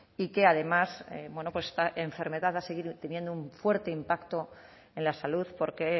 y que además esta enfermedad va a seguir teniendo un fuerte impacto en la salud porque